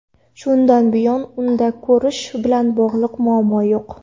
Shundan buyon unda ko‘rish bilan bog‘liq muammo yo‘q.